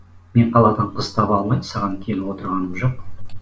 мен қаладан қыз таба алмай саған келіп отырғаным жоқ